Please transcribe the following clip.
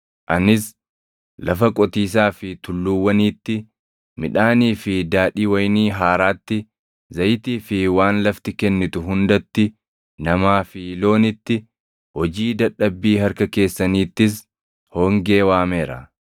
Anis lafa qotiisaa fi tulluuwwaniitti, midhaanii fi daadhii wayinii haaraatti, zayitii fi waan lafti kennitu hundatti, namaa fi loonitti, hojii dadhabbii harka keessaniittis hongee waameera.”